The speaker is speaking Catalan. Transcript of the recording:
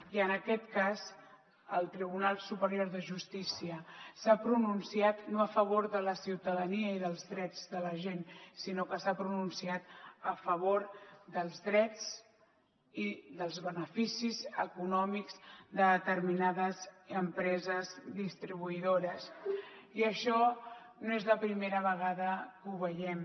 i en aquest cas el tribunal superior de justícia s’ha pronunciat no a favor de la ciutadania i dels drets de la gent sinó que s’ha pronunciat a favor dels drets i dels beneficis econòmics de determinades empreses distribuïdores i això no és la primera vegada que ho veiem